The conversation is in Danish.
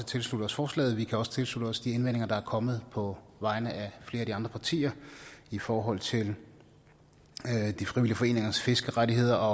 tilslutte os forslaget vi kan også tilslutte os de indvendinger der er kommet på vegne af flere af de andre partier i forhold til de frivillige foreningers fiskerettigheder